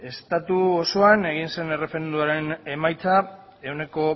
estatu osoan egin zen erreferendumaren emaitza ehuneko